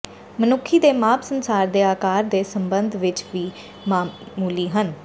ਮਨੁੱਖੀ ਦੇ ਮਾਪ ਸੰਸਾਰ ਦੇ ਆਕਾਰ ਦੇ ਸਬੰਧ ਵਿੱਚ ਵੀ ਮਾਮੂਲੀ ਹਨ